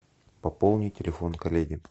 пополни телефон коллеги